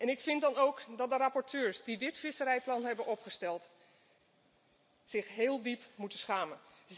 Ik vind dan ook dat de rapporteurs, die dit visserijplan hebben opgesteld, zich heel diep moeten schamen.